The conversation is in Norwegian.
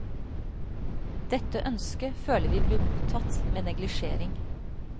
Dette ønsket føler vi blir mottatt med neglisjering.